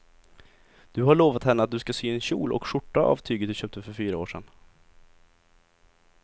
Du har lovat henne att du ska sy en kjol och skjorta av tyget du köpte för fyra år sedan.